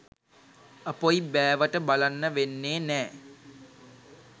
අපොයි බෑවට බලන්න වෙන්නේ නෑ